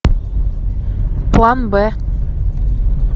план б